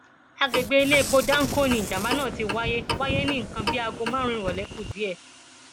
àgbègbè iléepo danco ni ìjàmbá náà ti wáyé wáyé ní nǹkan bíi aago márùnún ìrọlẹ kù díẹ